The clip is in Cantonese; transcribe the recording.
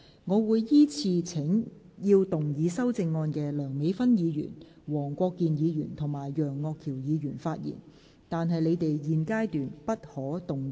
我會依次請要動議修正案的梁美芬議員、黃國健議員及楊岳橋議員發言，但他們在現階段不可動議修正案。